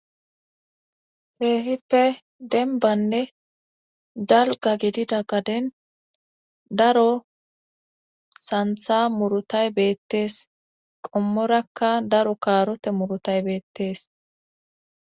Kehippe denbanne dalga gidida gaden daro santha murutay beettees qommorakka daro kaarote murutay beettees